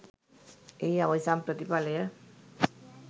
එහි අවසන් ප්‍රතිඵලය